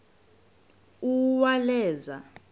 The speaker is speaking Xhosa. uwaleza